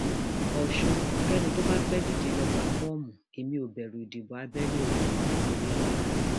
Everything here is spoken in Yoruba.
ọṣùn kénì tó bá fẹẹ díje lóò gba fọọmù ẹmí ó bẹrù ìdìbò abẹlé o òyelọla